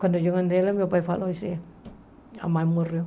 Quando eu andei lá, meu pai falou, disse, a mãe morreu.